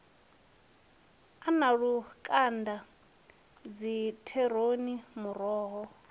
a na lukanda dzikheroti muroho